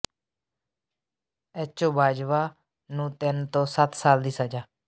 H O Bajwa ਨੂੰ ਤਿੰਨ ਤੋਂ ਸੱਤ ਸਾਲ ਦੀ ਸਜ਼ਾ